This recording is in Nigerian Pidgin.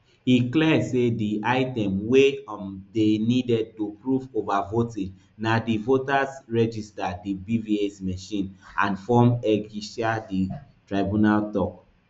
e clear say di item wey um dey needed to prove overvoting na di voters register di bvas machine and form eceighta di tribunal tok